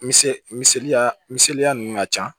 Misɛn misɛnya misɛnya ninnu ka ca